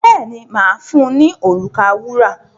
Bẹ́ẹ̀ni, mà á fun ní òrùka wúrà.